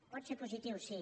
pot ser positiu sí